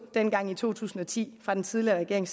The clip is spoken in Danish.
dengang i to tusind og ti af den tidligere regering